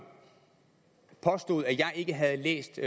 påstod at jeg ikke havde læst